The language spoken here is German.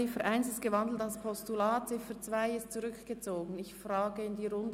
Die Ziffer 1 ist in ein Postulat umgewandelt und die Ziffer 2 ist zurückgezogen worden.